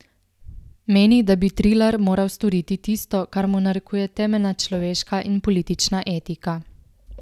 Meni, da bi Trilar moral storiti tisto, kar mu narekuje temeljna človeška in politična etika.